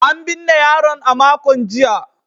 An binne yaron a makon jiya.